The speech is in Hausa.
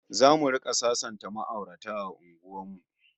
ZAmu rika sasanta ma'aurata a unguwar mu